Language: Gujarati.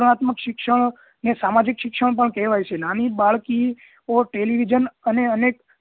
વનાત્મક શિક્ષણ અને સામાજિક શિક્ષણ પણ કહેવાય છે નાની બાળકીઓ television અને અનેક